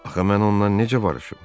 Axı mən ondan necə barışım?